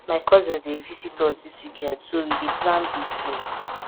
my cousins dey visit us dis weekend so we dey plan big dinner